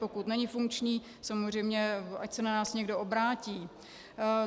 Pokud není funkční, samozřejmě ať se na nás někdo obrátí.